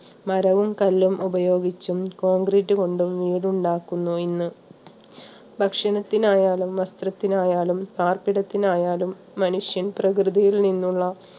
മരവും കല്ലും ഉപയോഗിച്ചും കോൺക്രീറ്റ് കൊണ്ടും വീടുണ്ടാക്കുന്നു ഇന്ന്. ഭക്ഷണത്തിന് ആയാലും വസ്ത്രത്തിന് ആയാലും പാർപ്പിടത്തിനായാലും മനുഷ്യൻ പ്രകൃതിയിൽ നിന്നുള്ള